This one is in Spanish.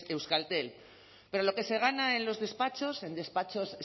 euskaltel pero lo que se gana en los despachos en despachos